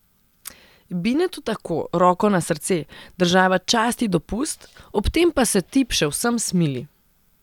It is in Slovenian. Binetu tako, roko na srce, država časti dopust, ob tem pa se tip še vsem smili.